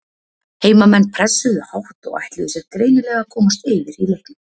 Heimamenn pressuðu hátt og ætluðu sér greinilega að komast yfir í leiknum.